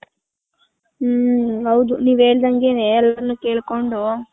ಹ್ಮ್ಮ್ ಹೌದು ನೀವ್ ಹೇಳ್ದನ್ಗೆನೆ ಎಲ್ರುನು ಕೆಲ್ಜ್ಕೊಂಡ್ .